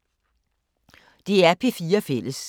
DR P4 Fælles